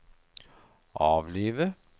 avlive